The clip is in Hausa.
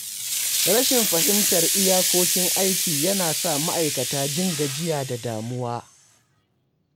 Rashin fahimtar iyakokin aiki yana sa ma’aikata jin gajiya da damuwa.